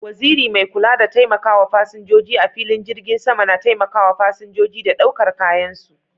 Waziri mai kula da taimakawa fasinjoji a filin jirgin sama na taimakawa fasinjoji da ɗaukar kayan su.